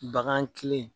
Bagan kilen